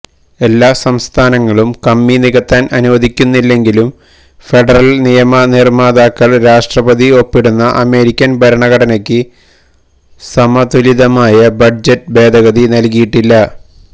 എല്ലാ സംസ്ഥാനങ്ങളും കമ്മി നികത്താൻ അനുവദിക്കുന്നില്ലെങ്കിലും ഫെഡറൽ നിയമനിർമാതാക്കൾ രാഷ്ട്രപതി ഒപ്പിടുന്ന അമേരിക്കൻ ഭരണഘടനയ്ക്ക് സമതുലിതമായ ബഡ്ജറ്റ് ഭേദഗതി നൽകിയിട്ടില്ല